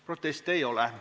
Proteste ei ole.